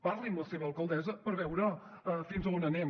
parli amb la seva alcaldessa per veure fins a on anem